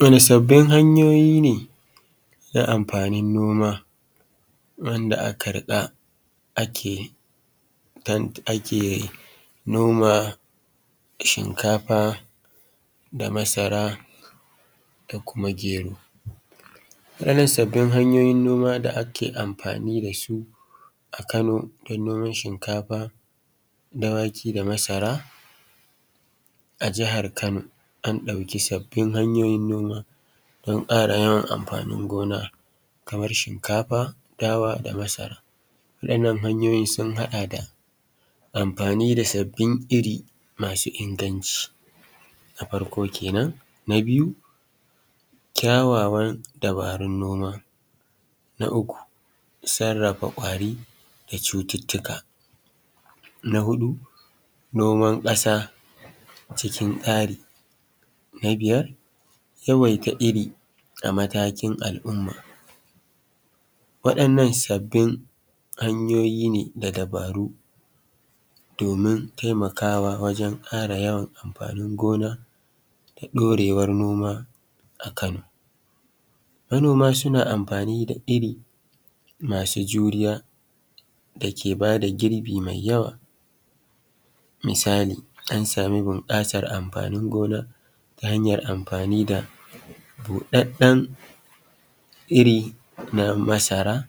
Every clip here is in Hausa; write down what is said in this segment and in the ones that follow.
Wani sabbin hanyoyin ne na amfanin noma wanda aka haɗa ake noma shinkafar da masara da kuma gero. A waɗannan sabbin hanyoyi da ake amfani da su a kano don noman shinkafa da wake da masara a jihar Kano an ɗauki sabbin hnyoyin noma don ƙara yawan amfanin gona kamar shinkafa dawa da masara. Waɗannan hanyoyin sun haɗa da amfani da sabbin iri masu inganci na farko kenan, na biyu ƙyawawar dabarun noma. Na uku sarrafa kwari da cututtuka na huɗu noman ƙasa cikin taari. Na biyar yawaita iri a matakin al'umma. Waɗannan nan sabbin hanyoyin ne don ɗorewar noma a Kano. Manoma suna amfani da iri masu juriya dake ba da girbi mai yawa, misali an sama bunƙasar amfanin gona da buɗaɗɗen iri na masara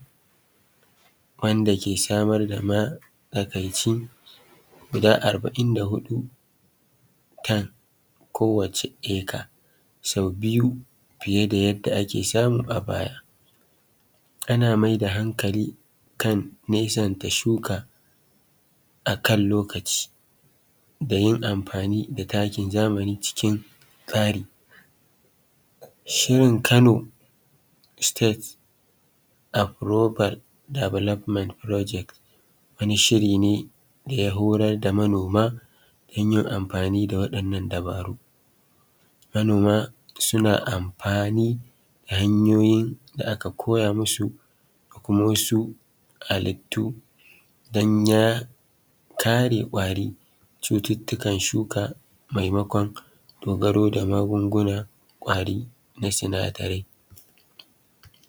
wanda ke samar da matsakaicin guda arba'in da huɗu tan a kowacce aka fiya da yadda ake samu a baya. Ana maida hankali kan nesanta shuka akan lokaci da yin amfani da takin zamani cikin tsari. Shirin Kano state approval development project. Wani shiri ne da ya horar da manoma yin amfani da wanɗannan dabaru. Manoma suna amfanai da hanyoyin da aka koya musu da kuma wasu hallitu don ya kare ƙwari cututtuka shuka maimakon dogaro ga magungunan ƙwari na sinadarai.